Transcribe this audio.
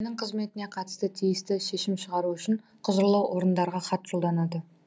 мекеменің қызметіне қатысты тиісті шешім шығару үшін құзырлы орындарға хат жолданады